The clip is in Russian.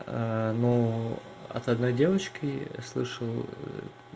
ну от одной девочки слышал